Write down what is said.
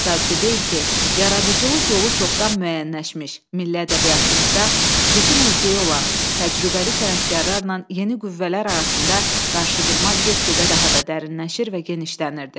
Təsadüfi deyil ki, yaradıcılıq yolu çoxdan müəyyənləşmiş, milli ədəbiyyatımızda xüsusi mövqeyi olan təcrübəli sənətkarlarla yeni qüvvələr arasında qarşıdurma get-gedə daha da dərinləşir və genişlənirdi.